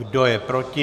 Kdo je proti?